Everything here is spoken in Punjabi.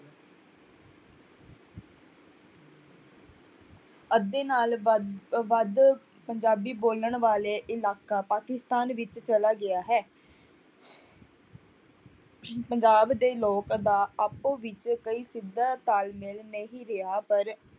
ਅੱਧੇ ਨਾਲ ਵੱ~ ਵੱਧ ਪੰਜਾਬੀ ਬੋਲਣ ਵਾਲੇ ਇਲਾਕਾ ਪਾਕਿਸਤਾਨ ਵਿੱਚ ਚਲਾ ਗਿਆ ਹੈ ਪੰਜਾਬ ਦੇ ਲੋਕ ਦਾ ਆਪੋ ਵਿੱਚ ਕਈ ਸਿੱਧਾ ਤਾਲਮੇਲ ਨਹੀਂ ਰਿਹਾ ਪਰ